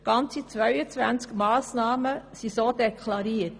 Ganze 22 Massnahmen sind so deklariert.